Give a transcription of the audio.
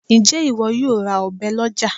Ǹjẹ́ ìwọ yóò ra ọ̀bẹ lọ́já